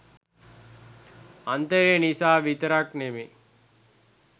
අන්තරේ නිසා විතරක් නෙමෙයි.